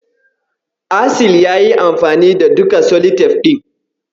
Asil yayi amfani da duka seletif ɗin.